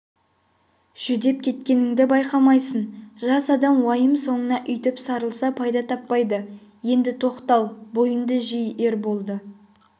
жүдеп кеткеніңді байқаймысың жас адам уайым соңына өйтіп сарылса пайда таппайды енді тоқтал бойыңды жи ерболды